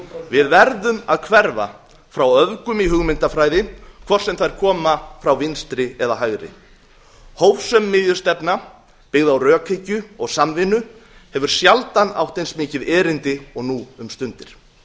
við verðum að hverfa frá öfgum í hugmyndafræði hvort sem þær koma frá vinstri eða hægri hófsöm miðjustefna byggð á rökhyggju og samvinnu hefur sjaldan átt eins mikið erindi og nú um stundir